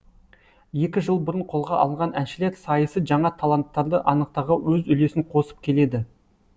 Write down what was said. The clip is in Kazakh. екі жыл бұрын қолға алынған әншілер сайысы жаңа таланттарды анықтауға өз үлесін қосып келеді